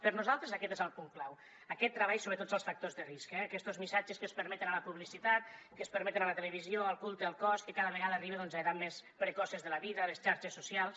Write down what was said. per nosaltres aquest és el punt clau aquest treball sobre tots els factors de risc aquestos missatges que es permeten a la publicitat que es permeten a la televisió el culte al cos que cada vegada arriba a edats més precoces de la vida les xarxes socials